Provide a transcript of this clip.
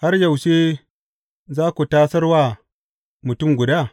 Har yaushe za ku tasar wa mutum guda?